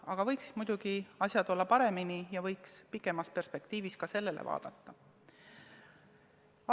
Aga asjad võiksid muidugi olla paremini ja pikemas perspektiivis võiks ka sellele vaadata.